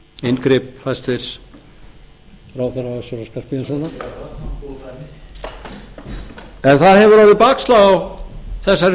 inngrip hæstvirtur ráðherra össurar skarphéðinssonar en það hefur orðið bakslag á þessari